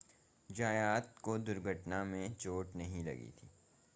ज़यात को दुर्घटना में चोट नहीं लगी थी